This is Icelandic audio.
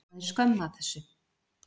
Það er skömm af þessu.